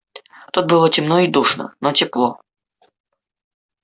тут было темно и душно но тепло